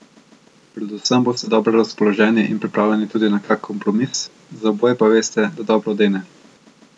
Predvsem boste dobro razpoloženi in pripravljeni tudi na kak kompromis, za oboje pa veste, da dobro dene.